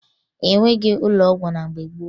E nweghi ụlọ ọgwụ na mgbe gboo